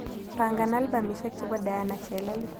Pangan albamisiek chebo diana chelele